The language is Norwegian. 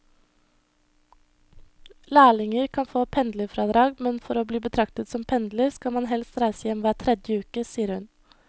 Lærlinger kan få pendlerfradrag, men for å bli betraktet som pendler skal man helst reise hjem hver tredje uke, sier hun.